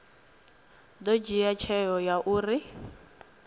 ḓo dzhia tsheo ya uri